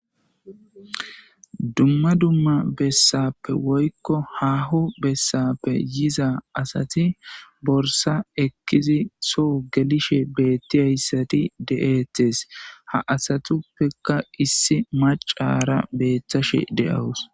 dumma dumma bessappe woykko hahu bessappe yiza asati borsa ekkizi soo gelishe beettiyayssati de7eetes ha asatuppeka issi macara beethashe de7awus